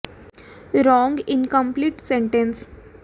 समाचार channel CNN द्वारा की गई रिकार्डिंग में ओबामा कार्यक्रम के बाद अपने